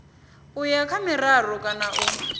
uya kha miraru kana u